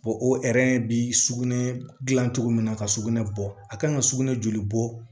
o bi sugunɛ gilan cogo min na ka sugunɛ bɔ a kan ka sugunɛ joli bɔ